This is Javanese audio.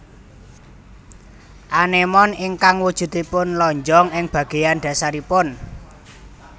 Anémon ingkang wujuduipun lonjong ing bagéyan dhasaripun